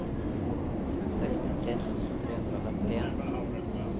sekstitre tusen tre hundre og femtien